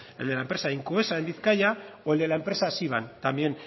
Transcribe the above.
el de la empresa incoesa en bizkaia o el de la empresa siban también